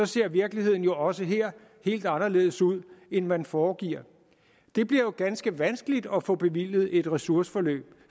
ser virkeligheden jo også her helt anderledes ud end man foregiver det bliver jo ganske vanskeligt at få bevilget et ressourceforløb